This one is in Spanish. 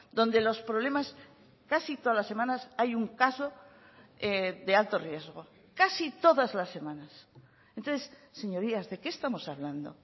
donde los problemas casi todas las semanas hay un caso de alto riesgo casi todas las semanas entonces señorías de qué estamos hablando